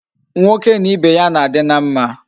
Nwoke na Ibe ya na adi na mma